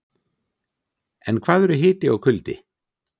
En hvað eru hiti og kuldi?